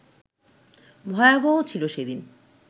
ভয়াবহ ছিল সেদিন